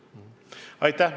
Aitäh!